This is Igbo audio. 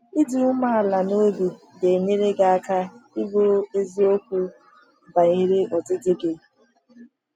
Ịdị umeala n’obi ga-enyere gị aka ịbụ eziokwu banyere ọdịdị gị.